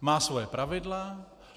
Má svoje pravidla.